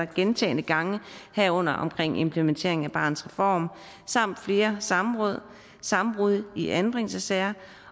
gentagne gange herunder omkring implementeringen af barnets reform samt flere samråd samråd i anbringelsessager